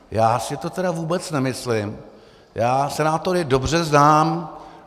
Já si to tedy vůbec nemyslím, já senátory dobře znám.